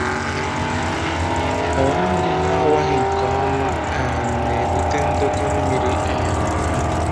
Ọwa mmiri na-awaghị nke ọma um na-ebute ndọkọ mmiri um um